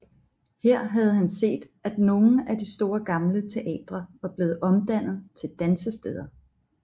Her havde han set at nogle af de store gamle teatre var blevet omdannet til dansesteder